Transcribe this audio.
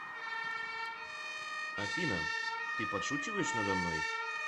афина ты подшучиваешь надо мной